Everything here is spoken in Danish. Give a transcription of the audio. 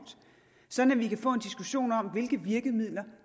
sådan at vi kan få en diskussion om hvilke virkemidler